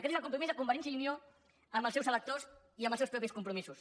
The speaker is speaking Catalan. aquest és el compromís de convergència i unió amb els seus electors i amb els seus propis compromisos